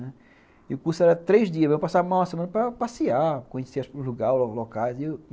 E o curso era três dias, mas eu passava uma semana para passear, conhecer os lagares, os locais.